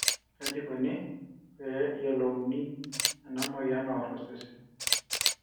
kaji ikoni pee eyiolouni ena moyian naor osesen.